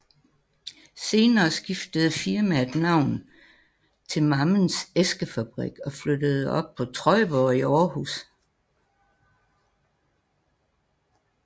Senere skiftede firmaet navn til Mammens Æskefabrik og flyttede op på Trøjborg i Århus